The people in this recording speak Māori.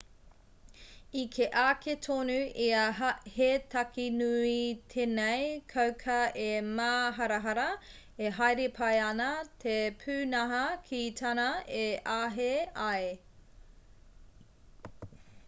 i kī ake tonu ia he take nui tēnei kauka e māharahara e haere pai ana te pūnaha ki tāna e āhei ai